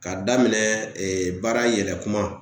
K'a daminɛ ee baara yɛlɛ kuman